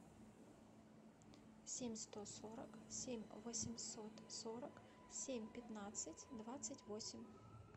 семь сто сорок семь восемьсот сорок семь пятнадцать двадцать восемь